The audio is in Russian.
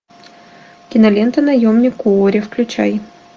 кинолента наемник куорри включай